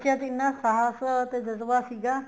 ਬੱਚਿਆ ਚ ਇੰਨਾ ਸ਼ਾਸ ਤੇ ਜਜ੍ਬਾ ਸੀਗਾ